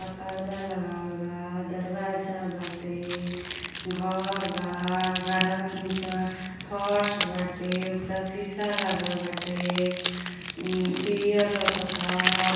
आ पर्दा लगावल बा दरवाजा बाटे घर बा। घरवा के निचवा फर्श बाटे उपरा सीसा लागल बाटे। म्-पीयर लउकता हर --